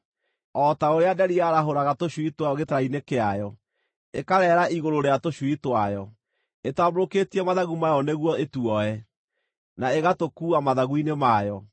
o ta ũrĩa nderi yarahũraga tũcui twayo gĩtara-inĩ kĩayo, ĩkareera igũrũ rĩa tũcui twayo, ĩtambũrũkĩtie mathagu mayo nĩguo ituoe, na ĩgatũkuua mathagu-inĩ mayo.